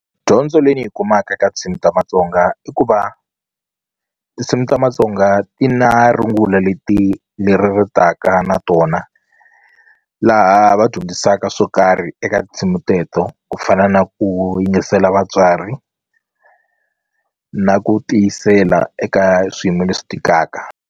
Dyondzo leyi ndzi yi kumaka eka tinsimu ta Matsonga i ku va tinsimu ta Matsonga ti na rungula leti leri ri taka na tona laha va dyondzisaka swo karhi eka tindzimi teto ku fana na ku yingisela vatswari na ku tiyisela eka swiyimo leswi tikaka.